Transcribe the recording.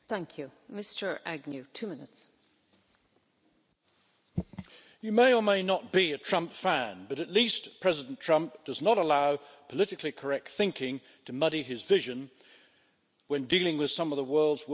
Madam President, you may or may not be a Trump fan, but at least President Trump does not allow politically correct thinking to muddy his vision when dealing with some of the world's worst tyrants.